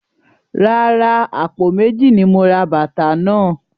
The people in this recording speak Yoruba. Rárá, àpò méjì ni mo ra bàtà náà.